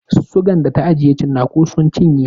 Sigan da ta ajiye tsinaku sun cinye.